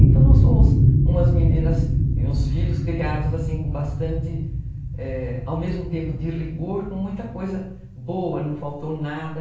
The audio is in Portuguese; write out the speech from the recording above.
Então, nós fomos umas meninas e uns filhos criados, assim, com bastante, ao mesmo tempo de rigor, com muita coisa boa, não faltou nada.